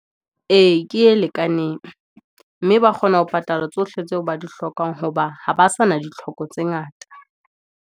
E, ke e lekaneng, mme ba kgona ho patala tsohle tseo ba di hlokang, hoba ha ba sa na ditlhoko tse ngata.